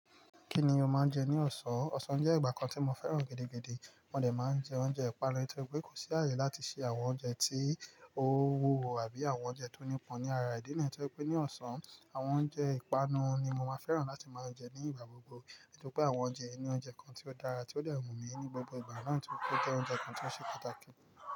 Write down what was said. Kí ni o máa ń jẹ ní ọ̀sán? Òsán jẹ́ ìgbà kan tí mo fẹ́ràn gidi gidi. Mo dè máa ń jẹ oúnjẹ ìpanu, torí pé kò sí ààyè láti ṣe àwọn oúnjẹ tí ó wúwo àbí àwọn oúnjẹ tó nípọn ní ara ìdí niyi. Torí pé ní ọ̀sán, àwọn oúnjẹ ìpanu ni mo máa ń fẹ́ràn láti máa jẹ ní ìgbà gbogbo. Nítorí pé àwọn oúnjẹ inú oúnjẹ kan tó dára, tí ó de wu mi ní gbogbo ìgbà náà tí ó jẹ́ oúnjẹ kan tó ṣe pàtàkì.